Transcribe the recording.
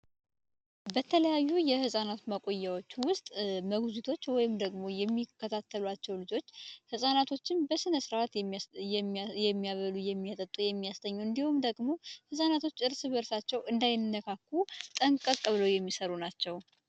በተለያዩ የህፃናት መቆየቱ ውስጥ ወይም ደግሞ የሚከታተላቸው ልጆች ፃናቶችን በስነ ስርዓት የሚያበሉ የሚያጠጡ የሚያሰኘው እንዲሁም ደግሞ ጠንቀቅ ብለዉ የሚሰሩ ናቸው።